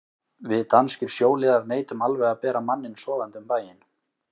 Við danskir sjóliðar neitum alveg að bera manninn sofandi um bæinn.